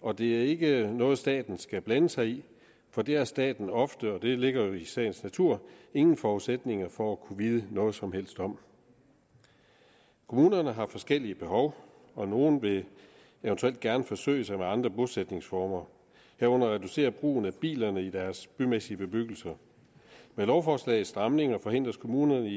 og det er ikke noget staten skal blande sig i for det har staten ofte og det ligger jo i sagens natur ingen forudsætninger for at kunne vide noget som helst om kommunerne har forskellige behov og nogle vil eventuelt gerne forsøge sig med andre bosætningsformer herunder reducere brugen af bilerne i deres bymæssige bebyggelser med lovforslagets stramninger forhindres kommunerne